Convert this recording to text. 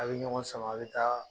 A' bɛ ɲɔgɔn sama a' bɛ taa